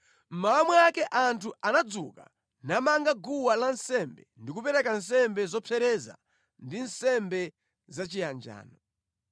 Mmawa mwake anthu anadzuka namanga guwa lansembe ndi kupereka nsembe zopsereza ndi nsembe zachiyanjano.